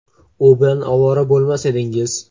u bilan ovora bo‘lmas edingiz.